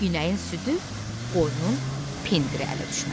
İnəyin südü, qoyunun pendiri ələ düşməz.